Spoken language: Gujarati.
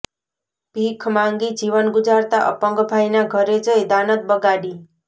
ભીખ માગી જીવન ગુજારતા અપંગ ભાઈના ઘરે જઈ દાનત બગાડી